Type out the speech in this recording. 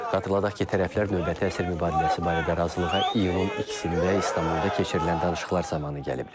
Xatırladaq ki, tərəflər növbəti əsir mübadiləsi barədə razılığa iyunun 2-də İstanbulda keçirilən danışıqlar zamanı gəliblər.